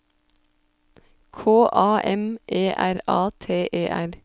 K A M E R A T E R